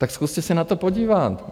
Tak zkuste se na to podívat.